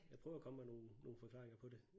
Jeg prøver at komme med nogen nogen forklaringer på det